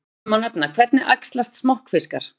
Sem dæmi má nefna: Hvernig æxlast smokkfiskar?